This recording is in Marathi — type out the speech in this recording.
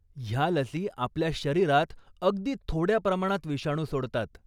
ह्या लसी आपल्या शरीरात अगदी थोड्या प्रमाणात विषाणू सोडतात.